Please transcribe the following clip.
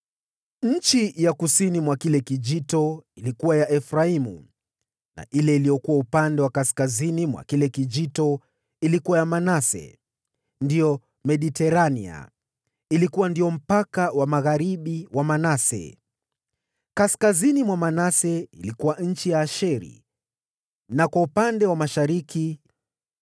Nchi ya kusini ilikuwa ya Efraimu, na ile iliyokuwa upande wa kaskazini ilikuwa ya Manase. Eneo la Manase lilifika bahari na ikapakana na Asheri upande wa kaskazini, na Isakari upande wa mashariki.